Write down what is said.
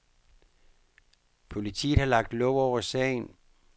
Politiet har lagt låg over sagen.